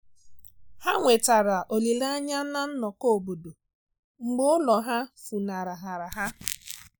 Ha nwetara olile anya na nnọkọ obodo mgbe ulo ha funahara ha.